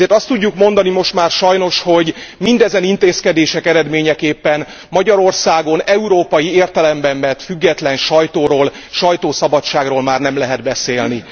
Ezért azt tudjuk mondani most már sajnos, hogy mindezen intézkedések eredményeképpen Magyarországon európai értelemben vett független sajtóról, sajtószabadságról már nem lehet beszélni.